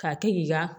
K'a kɛ k'i ka